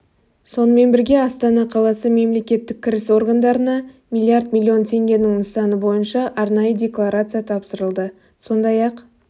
сонымен бірге астана қаласы мемлекеттік кіріс органдарына миллиард миллион теңгенің нысаны бойынша арнайы декларация тапсырылды сондай-ақ